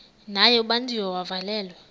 naye ubanjiwe wavalelwa